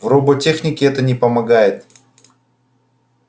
в роботехнике это не помогает